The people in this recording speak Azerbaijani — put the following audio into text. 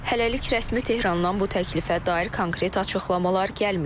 Hələlik rəsmi Tehrandan bu təklifə dair konkret açıqlamalar gəlməyib.